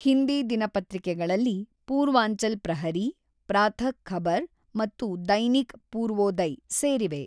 ಹಿಂದಿ ದಿನಪತ್ರಿಕೆಗಳಲ್ಲಿ ಪೂರ್ವಾಂಚಲ್ ಪ್ರಹರೀ, ಪ್ರಾತಃ ಖಬರ್ ಮತ್ತು ದೈನಿಕ್ ಪೂರ್ವೋದಯ್ ಸೇರಿವೆ.